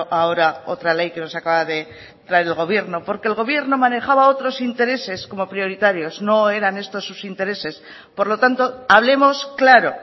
ahora otra ley que nos acaba de traer el gobierno porque el gobierno manejaba otros intereses como prioritarios no eran estos sus intereses por lo tanto hablemos claro